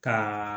Ka